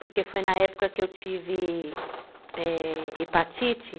Porque foi na época que eu tive, é... hepatite.